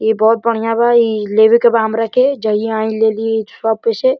इ बहोत बढ़िया बा। इ लेवेके बा हमरा के। जहिया आई लेली ही शॉप पे से।